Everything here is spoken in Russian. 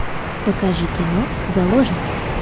покажи кино заложница